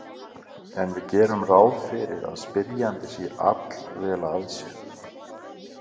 En við gerum ráð fyrir að spyrjandi sé allvel að sér.